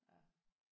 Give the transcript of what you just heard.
Ja